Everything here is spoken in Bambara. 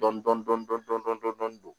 Dɔn